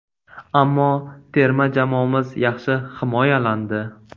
Ammo terma jamoamiz yaxshi himoyalandi.